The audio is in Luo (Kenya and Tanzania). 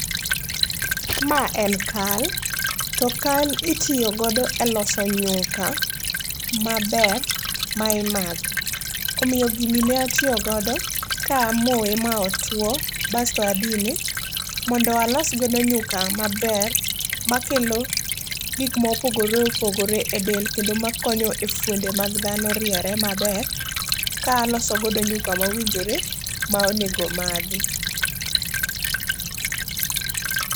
Ma en kal, to kal itiyogodo e loso nyuka maber ma imadho. Omiyo gini ne atiyogodo ka amoye ma otwo basto adine mondo alosgodo nyuka maber makelo gik mopogore opogore e del. Kendo makonyo e fuonde mag dhano riere maber ka alosogodo nyuka maowinjore maonego omadhi.